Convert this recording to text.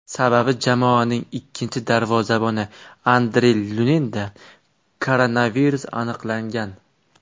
Sababi jamoaning ikkinchi darvozaboni Andrey Luninda koronavirus aniqlangan.